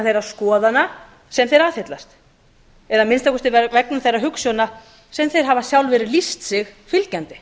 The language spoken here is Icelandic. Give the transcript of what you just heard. þeirra skoðana sem þeir aðhyllast að minnsta kosti vegna þeirrar hugsjóna sem þeir hafa lýst sig fylgjandi